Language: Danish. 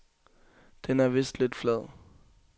Den er vist lidt flad.